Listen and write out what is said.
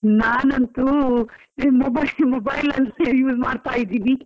ನಾನೆಂತು ಈ mobile mobile ಅಲ್ಲಿಸಾ use ಮಾಡ್ತಾ ಇದ್ದೀವಿ.